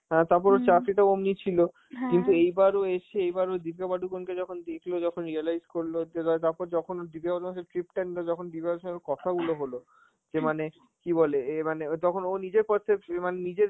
হ্যাঁ তারপর ওর চাকরিটাও অমনি ছিল, কিন্তু এইবার ও এসছে, এবার ও দীপিকা পাডুকোন কে যখন দেখল, যখন realise বলল যে ধর~ তারপর যখন ও দীপিকা পাডুকোনের সাথে trip টা নিলো, যখন দীপিকার সঙ্গে ওর কথাগুলো হল, যে মানে কি বলে এ মানে ও তখন নিজের percep~ এ মানে নিজের